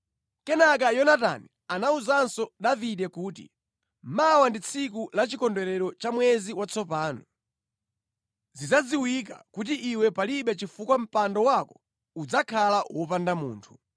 Kenaka Yonatani anawuzanso Davide kuti, “Mawa ndi tsiku la chikondwerero cha mwezi watsopano. Zidzadziwika kuti iwe palibe chifukwa mpando wako udzakhala wopanda munthu.